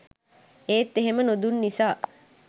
ඒත් එහෙම නොදුන් නිසා